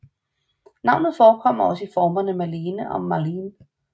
Navnet forekommer også i formerne Marlene og Marleen